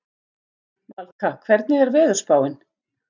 Valka, hvernig er veðurspáin?